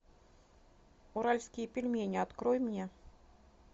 уральские пельмени открой мне